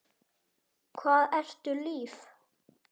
Hvað ertu líf?